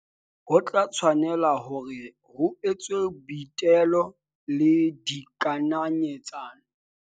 Ho tla tshwanela hore ho etswe boitelo le dikananyetsa no.